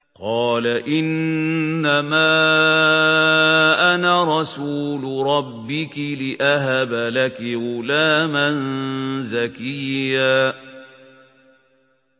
قَالَ إِنَّمَا أَنَا رَسُولُ رَبِّكِ لِأَهَبَ لَكِ غُلَامًا زَكِيًّا